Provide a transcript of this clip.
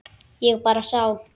Ég bara sá.